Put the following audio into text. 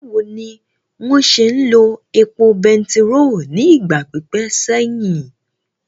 Báwo ni wọ́n ṣe ń lo epo bẹtiró ní ìgbà pípẹ́ sẹ́yìn?